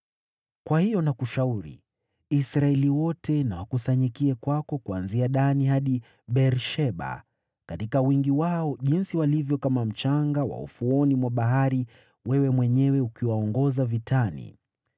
“Kwa hiyo nakushauri: Israeli wote na wakusanyikie kwako, kuanzia Dani hadi Beer-Sheba, katika wingi wao jinsi walivyo kama mchanga wa ufuoni mwa bahari, wewe mwenyewe ukiwaongoza vitani.